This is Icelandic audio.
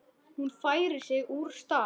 Hún færir sig úr stað.